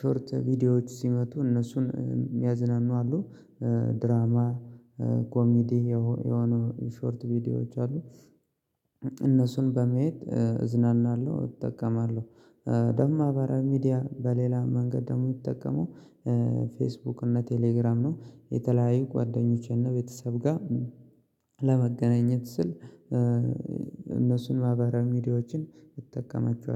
ሾርት ቪዲዮዎች ሲመጡ እነሱን ያሚያዝናኑ አሉ ድራማ ኮሚዲ የሆኑ የሾርት ቪዲዮዎች አሉ እነሱን በመሄድ እዝናናለሁ እጠቀማለሁ። ደግሞ ማህበራዊ ሚዲያ በሌላ መንገድ ደግሞ የምጠቀመው ፌስቡክ እና ቴሌግራም ነው የተለያዩ ጓደኞቼ እና ቤተሰብ ጋር ለመገናኘት ስል እነሱን ማህቀራዊ ሚዲያዎችን እጠቀማችኋለሁ